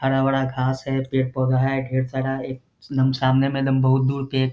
हरा-भरा घास है पेड़-पौधा है ढेर सारा एकदम सामने में दम बहुत दूर पे एक --